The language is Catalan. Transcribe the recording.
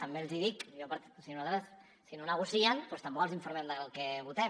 també els hi dic o sigui nosaltres si no negocien doncs tampoc els informem del que votem